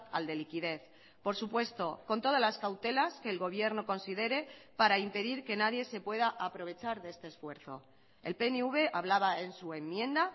al de liquidez por supuesto con todas las cautelas que el gobierno considere para impedir que nadie se pueda aprovechar de este esfuerzo el pnv hablaba en su enmienda